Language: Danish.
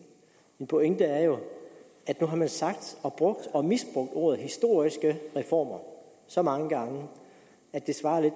min pointe er jo at nu har man sagt og brugt og misbrugt ordet historiske reformer så mange gange at det svarer lidt